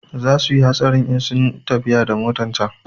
Za suyi hatsarin in sunyi tafiya da motan can